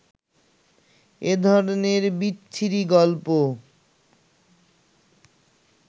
এ ধরনের বিচ্ছিরি গল্প